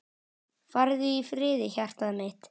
Farðu í friði hjartað mitt.